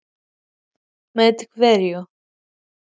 Breki: Góðan daginn strákar, mætti ég trufla ykkur hérna?